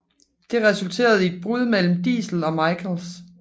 Det resulterede i et brud mellem Diesel og Michaels